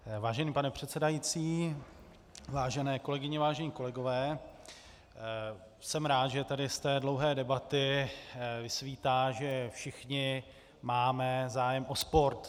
Vážený pane předsedající, vážené kolegyně, vážení kolegové, jsem rád, že tady z té dlouhé debaty vysvítá, že všichni máme zájem o sport.